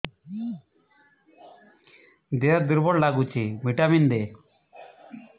ଦିହ ଦୁର୍ବଳ ଲାଗୁଛି ଭିଟାମିନ ଦେ